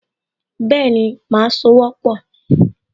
Bẹ́ẹ̀ni, màá sowọ́pọ̀